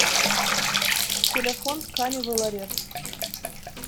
телефон тканевый ларец